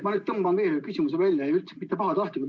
Ma nüüd tõmban veel ühe küsimuse välja ja üldse mitte pahatahtlikult.